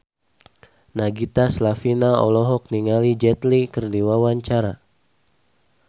Nagita Slavina olohok ningali Jet Li keur diwawancara